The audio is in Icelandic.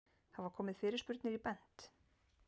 Hafa komið fyrirspurnir í Bent?